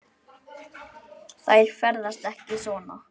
Þær ferðast ekki svona.